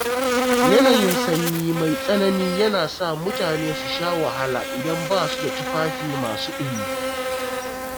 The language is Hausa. Yanayin sanyi mai tsanani yana sa mutane su sha wahala idan ba su da tufafi masu ɗumi.